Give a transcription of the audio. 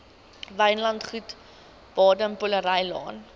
wynlandgoed baden powellrylaan